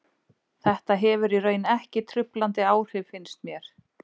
Þetta hefur í raun ekki truflandi áhrif finnst mér.